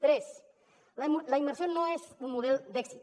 tres la immersió no és un model d’èxit